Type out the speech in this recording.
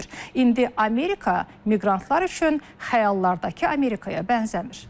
İndi Amerika miqrantlar üçün xəyallardakı Amerikaya bənzəmir.